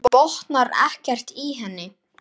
Hann botnar ekkert í henni.